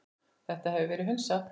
Þetta hefur verið hunsað.